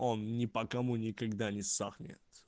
он ни по кому никогда не сохнет